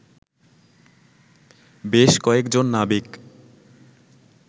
বেশ কয়েজন নাবিক